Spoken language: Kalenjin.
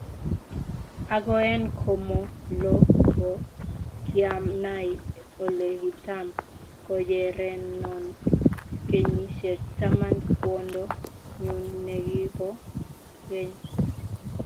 Ago en komo lo ko kianai ole kitam konyerenon kenyisiek taman kwondo nyun ne gi po geny